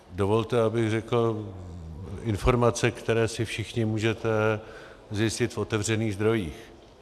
Dovolte, abych řekl informace, které si všichni můžete zjistit v otevřených zdrojích.